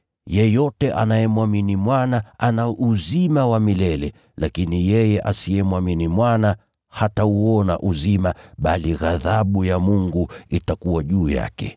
Yeyote anayemwamini Mwana ana uzima wa milele, lakini yeye asiyemwamini Mwana hatauona uzima, bali ghadhabu ya Mungu itakuwa juu yake.”